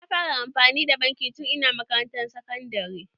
Na fara amfani da banki tun ina makarantan sakandare.